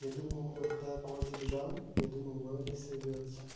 я думал вот когда кот сбежала я думаю мало ли сорвётся